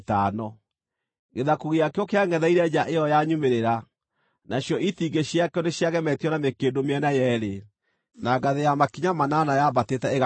Gĩthaku gĩakĩo kĩangʼetheire nja ĩyo ya nyumĩrĩra; nacio itingĩ ciakĩo nĩciagemetio na mĩkĩndũ mĩena yeerĩ, na ngathĩ ya makinya manana yaambatĩte ĩgakinya ho.